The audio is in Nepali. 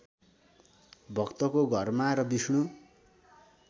भक्तको घरमा र विष्णु